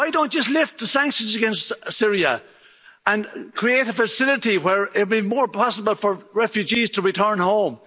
Why don't you just lift the sanctions against Syria and create a facility where it would be more possible for refugees to return home.